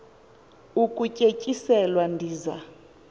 ukutye tyiselwa ndiza